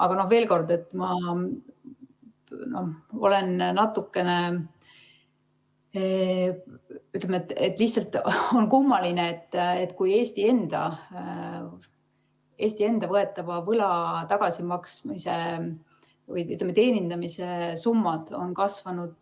Aga veel kord: on lihtsalt kummaline, et kui Eesti enda võetava võla tagasimaksmise või, ütleme, teenindamise summad on kasvanud